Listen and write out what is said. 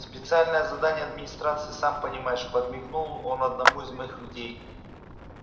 специальные задания администрации сам понимаешь подмигнул он одному из моих людей